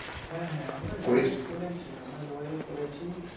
হ্যাঁ হ্যাঁ করেছি আমরা যোগাযোগ করেছি